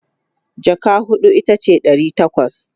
jaka huɗu itace Dari takwas